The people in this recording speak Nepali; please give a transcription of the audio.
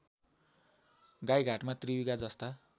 गाइघाटमा त्रियुगा जस्ता